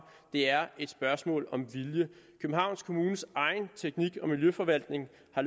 det er et spørgsmål om vilje københavns kommunes egen teknik og miljøforvaltning har